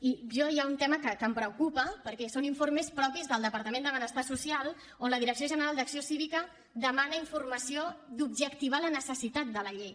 i a mi hi ha un tema que em preocupa perquè són informes propis del departament de benestar social on la direcció general d’acció cívica demana informació d’objectivar la necessitat de la llei